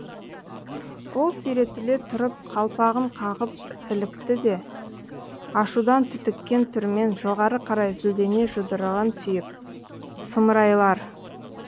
ол сүйретіле тұрып қалпағын қағып сілікті де ашудан түтіккен түрмен жоғары қарай зілдене жұдырығын түйіп сұмырайлар